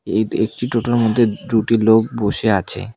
এদ একটি টোটোর মধ্যে দুটি লোক বসে আছে।